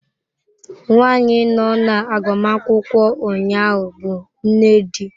Nwanyị nọ na agbamakwụkwọ ụnyaahụ bụ nne di.